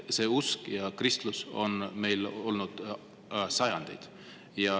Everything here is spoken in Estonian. See usk, kristlus on meil olnud sajandeid.